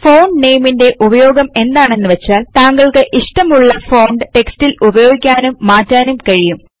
font നാമെ ന്റെ ഉപയോഗം എന്താണെന്നു വെച്ചാൽ തങ്കൾക്ക് ഇഷടമുള്ള ഫോണ്ട് റ്റെക്സ്റ്റിൽ ഉപയോഗിക്കാനും മാറ്റാനും കഴിയും